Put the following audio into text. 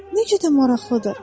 Nə qədər maraqlıdır.